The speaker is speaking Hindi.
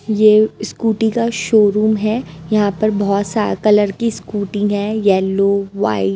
ये स्कूटी का शोरूम है यहां पर बहो सा कलर की स्कूटी है येल्लो वाई --